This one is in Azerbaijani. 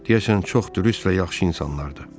Deyəsən çox dürüst və yaxşı insanlardır.